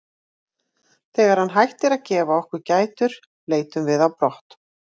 Þegar hann hættir að gefa okkur gætur leitum við á brott.